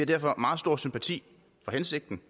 derfor meget stor sympati for hensigten